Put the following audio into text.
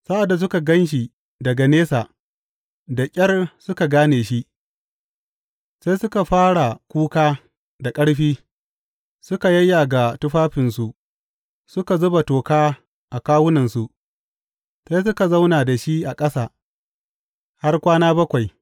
Sa’ad da suka gan shi daga nesa, da ƙyar suka gane shi; sai suka fara kuka da ƙarfi, suka yayyaga tufafinsu suka zuba toka a kawunansu, sai suka zauna da shi a ƙasa har kwana bakwai.